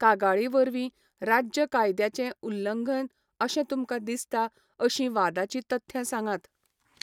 कागाळी वरवीं, राज्य कायद्याचें उल्लंघन अशें तुमकां दिसता अशीं वादाचीं तथ्यां सांगात.